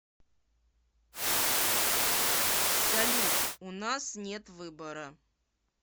салют у нас нет выбора